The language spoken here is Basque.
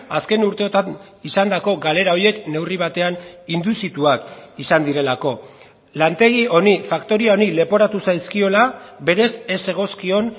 azken urteotan izandako galera horiek neurri batean induzituak izan direlako lantegi honi faktoria honi leporatu zaizkiola berez ez zegozkion